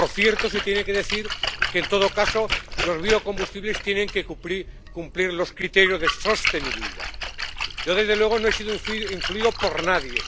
Por cierto, hay que decir que, en todo caso, los biocombustibles tienen que cumplir los criterios de sostenibilidad. Yo desde luego no he sido influido por nadie.